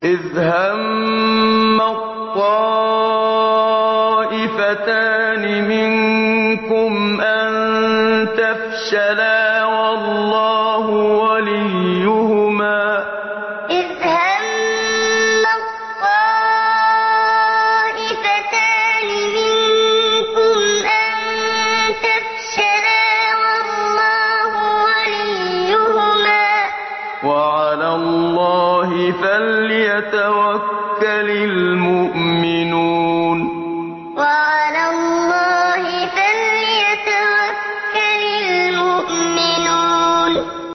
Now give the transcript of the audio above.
إِذْ هَمَّت طَّائِفَتَانِ مِنكُمْ أَن تَفْشَلَا وَاللَّهُ وَلِيُّهُمَا ۗ وَعَلَى اللَّهِ فَلْيَتَوَكَّلِ الْمُؤْمِنُونَ إِذْ هَمَّت طَّائِفَتَانِ مِنكُمْ أَن تَفْشَلَا وَاللَّهُ وَلِيُّهُمَا ۗ وَعَلَى اللَّهِ فَلْيَتَوَكَّلِ الْمُؤْمِنُونَ